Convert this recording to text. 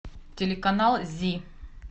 телеканал зи